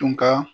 Tun ka